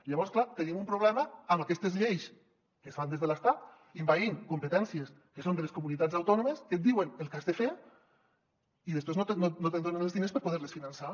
i llavors clar tenim un problema amb aquestes lleis que es fan des de l’estat envaint competències que són de les comunitats autònomes que et diuen el que has de fer i després no et donen els diners per poder les finançar